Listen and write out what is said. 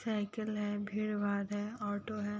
Cycle है। भीड़ भाड़ है ऑटो है।